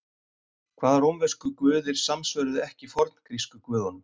Hvaða rómversku guðir samsvöruðu ekki forngrísku guðunum?